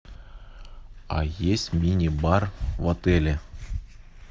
а есть мини бар в отеле